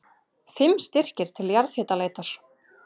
Fimm styrkir til jarðhitaleitar